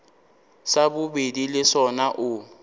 sa bobedi le sona o